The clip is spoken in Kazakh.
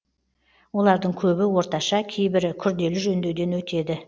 олардың көбі орташа кейбірі күрделі жөндеуден өтеді